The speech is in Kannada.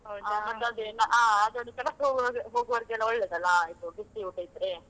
ಹಾ ಅದೊಂದು ಕೆಲಸಕ್ಕೆ ಹೋಗ್~ ಹೋಗುವವರಿಗೆಲ್ಲಾ ಒಳ್ಳೇದಲ್ಲಾ ಇದು ಬಿಸಿ ಊಟ ಇದ್ರೆ.